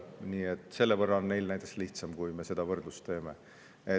Nii et kui me seda võrdlust teeme, siis on neil näiteks selle võrra lihtsam.